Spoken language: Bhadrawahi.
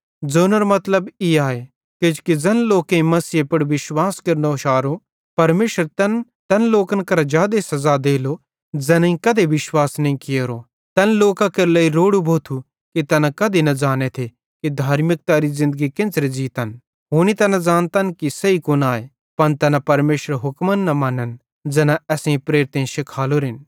ज़ोनेरो मतलब ई आए किजोकि ज़ैन लोकेईं मसीहे पुड़ विश्वास केरनो शारो परमेशर तैन तैन लोकन करां जादे सज़ा देलो ज़ैनेईं कधे विश्वास नईं कियोरो तैन लोकां केरे लेइ रोड़ू भोथू कि तैना कधी न ज़ांनेथे कि धार्मिकतारी ज़िन्दगी केन्च़रे ज़ीतन हुनी तैना ज़ानतन कि सही कुन आए पन तैना परमेशरेरे हुक्मन न मनन ज़ैना असेईं प्रेरितेईं शिखालोरेन